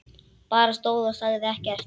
Bara stóð og sagði ekkert.